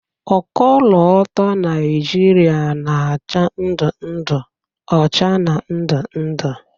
Ọkọlọtọ Naịjịrịa na-acha ndụ ndụ, ọcha, na ndụ ndụ.